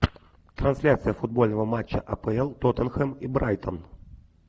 трансляция футбольного матча апл тоттенхэм и брайтон